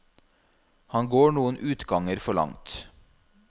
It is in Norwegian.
Han går noen utganger for langt.